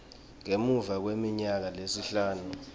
ngemuva kweminyaka lesihlanu